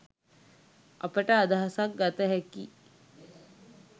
අපට අදහසක් ගත හැකියි.